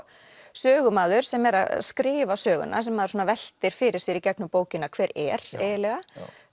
sögumaður sem er að skrifa söguna sem maður veltir fyrir sér í gegnum bókina hver er eiginlega